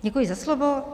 Děkuji za slovo.